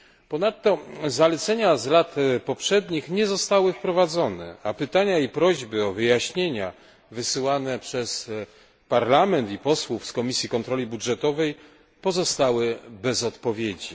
Ponadto zalecenia z lat poprzednich nie zostały wprowadzone, a pytania i prośby o wyjaśnienia wysyłane przez Parlament i posłów z Komisji Kontroli Budżetowej pozostały bez odpowiedzi.